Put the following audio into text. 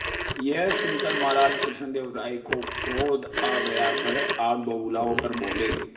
यह सुनकर महाराज कृष्णदेव राय को क्रोध आ गया वह आग बबूला होकर बोले